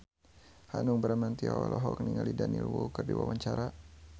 Hanung Bramantyo olohok ningali Daniel Wu keur diwawancara